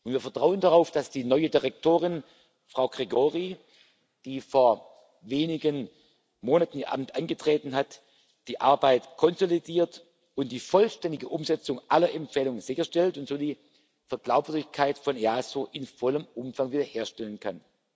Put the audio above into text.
Wir vertrauen darauf, dass die neue Exekutivdirektorin, Nina Gregori, die vor wenigen Monaten ihr Amt angetreten hat, die Arbeit konsolidiert und die vollständige Umsetzung aller Empfehlungen sicherstellt und so die Glaubwürdigkeit des EASO in vollem Umfang wiederherstellen kann.